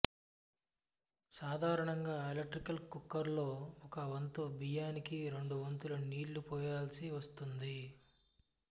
సాధారణంగా electric cooker లో ఒక వంతు బియ్యనికి రెండు వంతులు నీళ్ళు పొయాల్సివస్తుంది